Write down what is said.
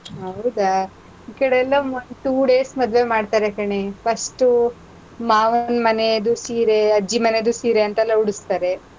ಹೌದಾ! ಈ ಕಡೆಯೆಲ್ಲಾ two days ಮದ್ವೆ ಮಾಡ್ತಾರೆ ಕಣೇ. first ಮಾವನ್ ಮನೆದು ಸೀರೆ, ಅಜ್ಜಿ ಮನೆದು ಸೀರೆ ಅಂತೆಲ್ಲ ಉಡುಸ್ತಾರೆ.